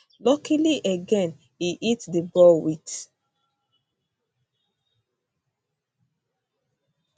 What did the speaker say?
luckily again e hit di ball wit